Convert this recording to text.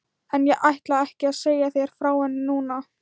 En ég ætla ekki að segja þér frá henni núna.